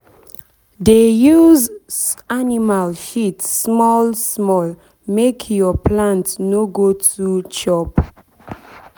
dey use animal shit small small make your plant no go too chop